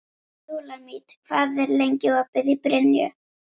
Súlamít, hvað er lengi opið í Brynju?